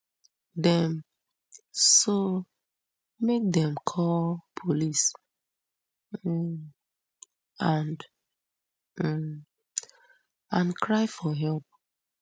dem so make dem call police um and um and cry for help